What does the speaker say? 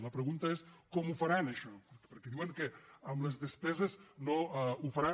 la pregunta és com ho faran això perquè diuen que amb les despe·ses no ho faran